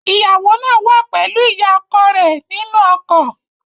Ìyàwó náà wà pẹ̀lú ìyá ọkọ rẹ̀ nínú ọkọ̀